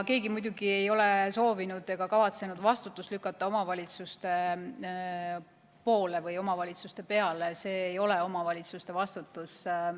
Muidugi ei ole keegi soovinud ega kavatsenud lükata vastutust omavalitsuste peale, see ei ole omavalitsuste vastutus.